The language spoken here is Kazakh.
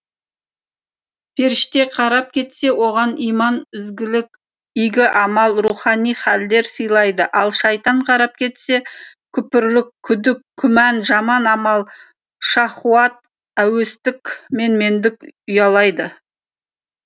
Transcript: періште қарап кетсе оған иман ізгілік игі амал рухани хәлдер сыйлайды ал шайтан қарап кетсе күпірлік күдік күмән жаман амал шахуат әуестік менмендік ұялайды